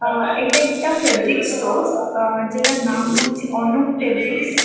আ- এটা একটা fabric stores আ- যেটার নাম হচ্ছে অনুপ ফেব্রিক্স ‌‍